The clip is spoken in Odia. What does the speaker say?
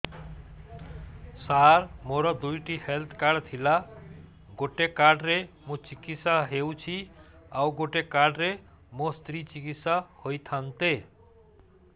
ସାର ମୋର ଦୁଇଟି ହେଲ୍ଥ କାର୍ଡ ଥିଲା ଗୋଟେ କାର୍ଡ ରେ ମୁଁ ଚିକିତ୍ସା ହେଉଛି ଆଉ ଗୋଟେ କାର୍ଡ ରେ ମୋ ସ୍ତ୍ରୀ ଚିକିତ୍ସା ହୋଇଥାନ୍ତେ